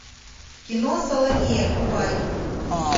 кино саломея врубай